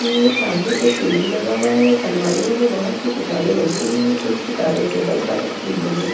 यह मेरे सामने एक टी.वी. लगा हुआ है और अल्मारियो बहुत सी किताबे लग हुई है कुछ किताबे टेबल पर रखी हुई है।